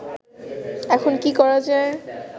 এখন কি করা যায়